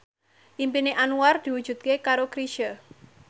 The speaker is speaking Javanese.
impine Anwar diwujudke karo Chrisye